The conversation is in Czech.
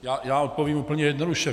Já odpovím úplně jednoduše.